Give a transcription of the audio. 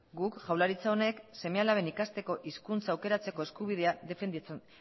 guk jaurlaritza honek seme alaben ikasteko hizkuntza aukeratzeko eskubidea